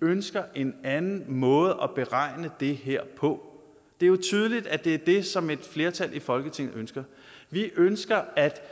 ønsker en anden måde at beregne det her på det er jo tydeligt at det er det som et flertal i folketinget ønsker vi ønsker at